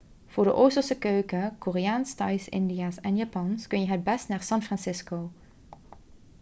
voor de oosterse keuken koreaans thais indiaas en japans kun je het beste naar san francisco